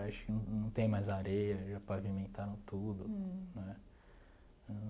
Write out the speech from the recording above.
Acho que não não tem mais areia, já pavimentaram tudo né.